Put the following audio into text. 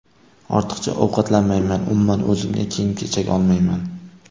Ortiqcha ovqatlanmayman, umuman, o‘zimga kiyim-kechak olmayman.